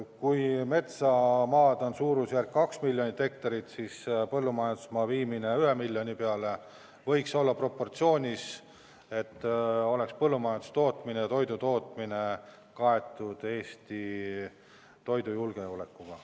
Kui metsamaad on suurusjärgus 2 miljonit hektarit, siis põllumajandusmaa suurendamine 1 miljoni hektarini võiks olla proportsionaalne samm, et põllumajandustootmine, toidutootmine tagaks Eesti toidujulgeoleku.